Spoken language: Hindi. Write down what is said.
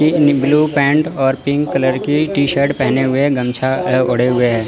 इन ब्लू पेंट और पिंक कलर की टी शर्ट पहने हुए गमछा अ ओड़े हुए हैं।